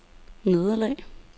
nederlag